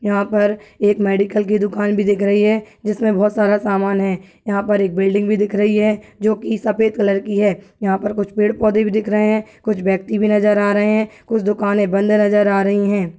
यहाँ पर एक मेडिकल की दुकान भी दिख रही है जिसमें बहुत सारा सामान है यहाँ पर एक बिल्डिंग भी दिख रही है जोकि सफेद कलर की है यहाँ पर कुछ पेड़ पौधे भी दिख रहे हैं कुछ व्यक्ति भी नजर आ रहे हैं कुछ दुकानें बंद नजर आ रही हैं।